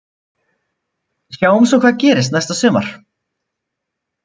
Sjáum svo hvað gerist næsta sumar.